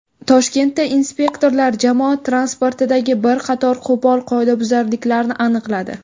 Toshkentda inspektorlar jamoat transportidagi bir qator qo‘pol qoidabuzarliklarni aniqladi.